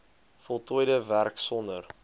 voltooide werk sonder